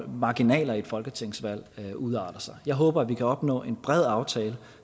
marginaler i et folketingsvalg udarter sig jeg håber at vi kan opnå en bred aftale